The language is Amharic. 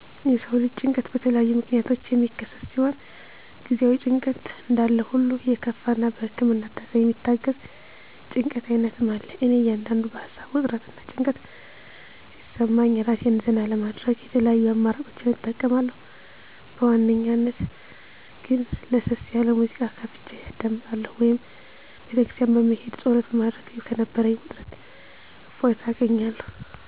የሰው ልጅ ጭንቀት በተለያዩ ምክንያቶች የሚከሰት ሲሆን ጊዜአዊ ጭንቀት እንዳለሁሉ የከፋ እና በህክምና እርዳታ የሚታገዝ የጭንቀት አይነትም አለ። እኔ አንዳንዴ በሀሳብ ውጥረት እና ጭንቀት ሲሰማኝ እራሴን ዘና ለማድረግ የተለያዩ አማራጮችን እጠቀማለሁ በዋናነት ግን ለሰስ ያለ ሙዚቃ ከፍቸ አዳምጣለሁ ወይም ቤተክርስቲያን በመሄድ ፀሎት በማድረግ ከነበረኝ ውጥረት እፎይታ አገኛለሁ።